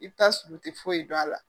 I bi taa sɔrɔ u te foyi dɔn a la.